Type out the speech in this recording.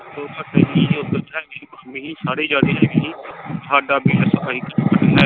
ਮਾਮੀ ਸੀ ਸਾਰੇ ਸਾਰੇ ਜਾਣੇ ਹੈਗੇ ਸੀ ਹਾਡਾ ਬਿੱਲ .